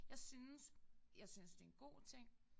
Jeg synes jeg synes det en god ting